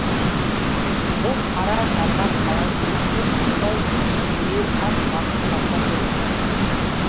бұл қара жарға қалай ілікті солай дереу ат басын тартар еді